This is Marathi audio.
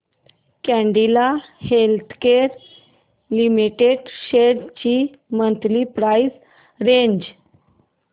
कॅडीला हेल्थकेयर लिमिटेड शेअर्स ची मंथली प्राइस रेंज